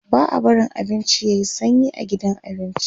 ba'a barin abinci yayi sanyi a gidan abinci